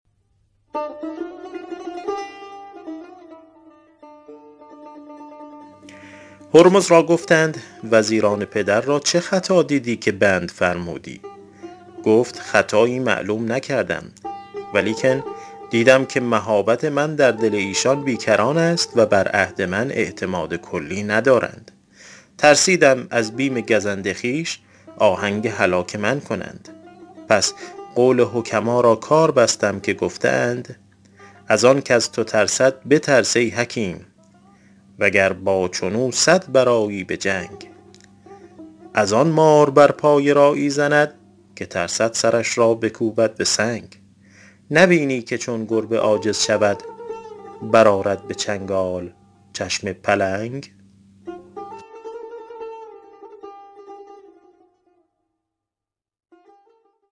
هرمز را گفتند وزیران پدر را چه خطا دیدی که بند فرمودی گفت خطایی معلوم نکردم ولیکن دیدم که مهابت من در دل ایشان بی کران است و بر عهد من اعتماد کلی ندارند ترسیدم از بیم گزند خویش آهنگ هلاک من کنند پس قول حکما را کار بستم که گفته اند از آن کز تو ترسد بترس ای حکیم وگر با چون او صد برآیی به جنگ از آن مار بر پای راعی زند که ترسد سرش را بکوبد به سنگ نبینی که چون گربه عاجز شود برآرد به چنگال چشم پلنگ